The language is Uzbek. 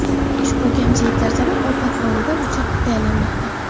Ushbu kamchiliklar sabab ovqat hovlida, o‘choqda tayyorlanmoqda.